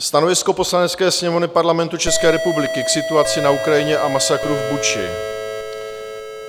"Stanovisko Poslanecké sněmovny Parlamentu České republiky k situaci na Ukrajině a masakru v Buči.